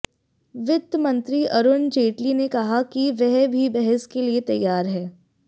वित्त मंत्री अरुण जेटली ने कहा कि वह भी बहस के लिए तैयार हैं